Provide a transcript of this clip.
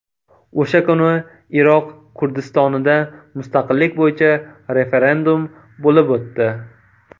O‘sha kuni Iroq Kurdistonida mustaqillik bo‘yicha referendum bo‘lib o‘tdi.